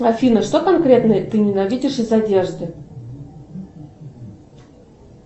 афина что конкретно ты ненавидишь из одежды